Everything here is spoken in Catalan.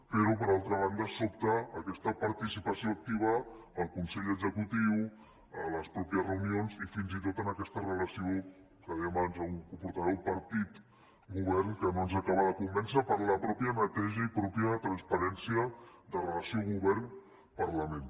però per altra banda sobta aquesta participació activa al consell executiu en les mateixes reunions i fins i tot en aquesta relació que deia abans algun portaveu partit govern que no ens acaba de convèncer per la mateixa neteja i la mateixa transparència de la relació govern parlament